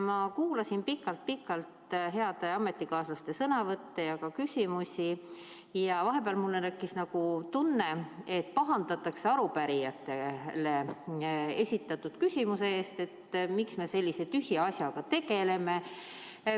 Ma kuulasin pikalt-pikalt heade ametikaaslaste sõnavõtte ja ka küsimusi ning vahepeal mul tekkis nagu tunne, et pahandatakse arupärijatega esitatud küsimuse pärast, et miks me sellise tühja asjaga tegeleme.